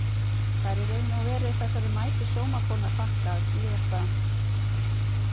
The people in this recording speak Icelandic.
Það er í raun og veru þessari mætu sómakonu að þakka að SÍÐASTA